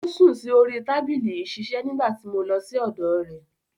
Ó sùn sí orí tábìlì ìṣiṣẹ́ nígbà tí mo lọ sí ọ̀dọ̀ rẹ̀.